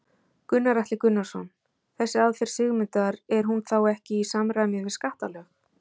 Gunnar Atli Gunnarsson: Þessi aðferð Sigmundar er hún þá ekki í samræmi við skattalög?